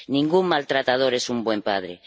Ningún maltratador es un buen padre.